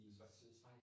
i Schweiz